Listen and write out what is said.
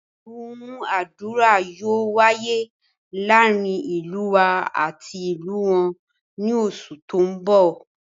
ìdúnadúrà yóò wáyé láàrin ìlú wa ati ìlú wọn ni oṣù tó ń bọ̀